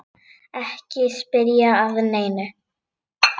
Ekki spyrja að neinu!